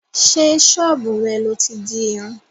Sé sọ́bù rẹ̀ lọ ti dirun?